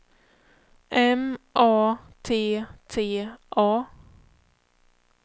M A T T A